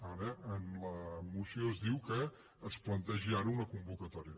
ara en la moció es diu que es plantegi ara una convocatòria